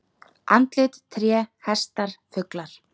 Andlit, tré, hestar, fuglar.